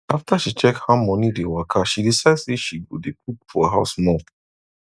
after she check how money dey waka she decide say she go dey cook for house more